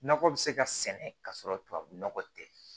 Nakɔ bɛ se ka sɛnɛ ka sɔrɔ tubabu nɔgɔ tɛ